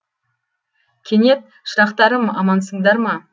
кенет шырақтарым амансыңдар ма